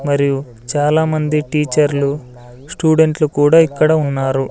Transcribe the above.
మరియు చాలామంది టీచర్లు స్టూడెంట్లు కూడా ఇక్కడ ఉన్నారు.